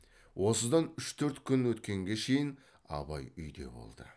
осыдан үш төрт күн өткенге шейін абай үйде болды